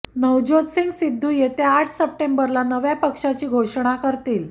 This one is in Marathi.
नवज्योत सिंग सिद्धू येत्या आठ सप्टेंबरला नव्या पक्षाची घोषणा करतील